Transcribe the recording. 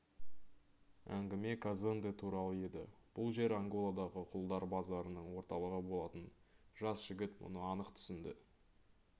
әңгіме казонде туралы еді бұл жер анголадағы құлдар базарының орталығы болатын жас жігіт мұны анық түсінді